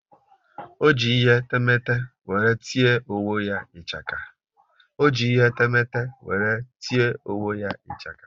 Ọ ji ihe temete wéré tie onwe ya ichaka